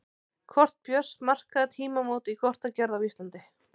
Kort Björns markaði tímamót í kortagerð á Íslandi.